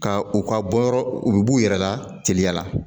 Ka u ka bɔ yɔrɔ u bɛ b'u yɛrɛ la teliya la